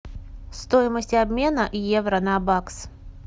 стоимость обмена евро на бакс